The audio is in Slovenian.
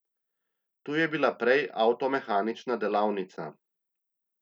Tu je bila prej avtomehanična delavnica.